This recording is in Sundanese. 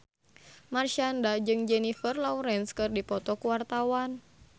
Marshanda jeung Jennifer Lawrence keur dipoto ku wartawan